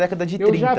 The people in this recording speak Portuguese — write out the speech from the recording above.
Década de trinta. Eu já